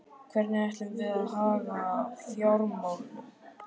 Hvernig ætlum við að haga fjármálunum?